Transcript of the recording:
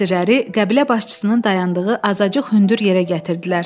Əsirləri qəbilə başçısının dayandığı azacıq hündür yerə gətirdilər.